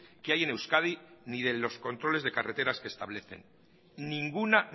que hay en euskadi ni de los controles de carreteras que establecen ninguna